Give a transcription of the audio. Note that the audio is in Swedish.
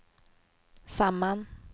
samman